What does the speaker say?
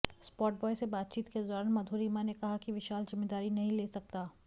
spotboy से बातचीत के दौरान मधुरिमा ने कहा कि विशाल जिम्मेदारी नहीं ले सकता